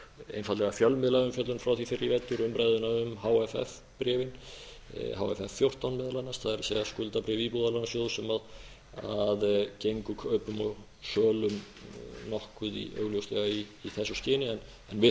einfaldlega fjölmiðlaumfjöllun frá því fyrr í vetur umræðuna um hff bréfin hff fjórtán meðal annars það er skuldabréf íbúðalánasjóðs sem gengu kaupum og sölum nokkuð augljóslega í þessu skyni en við